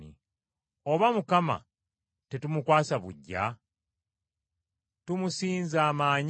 Oba Mukama tetumukwasa buggya? Tumusinza amaanyi?